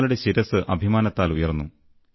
ഞങ്ങളുടെ ശിരസ്സ് അഭിമാനത്താൽ ഉയർന്നു